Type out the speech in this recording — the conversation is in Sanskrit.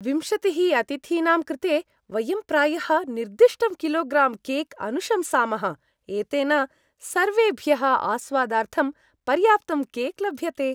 विंशतिः अतिथीनां कृते वयं प्रायः निर्दिष्टं किलोग्रां केक् अनुशंसामः, एतेन सर्वेभ्यः आस्वादार्थं पर्याप्तं केक् लभ्यते।